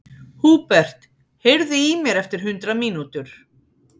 Húbert, heyrðu í mér eftir hundrað mínútur.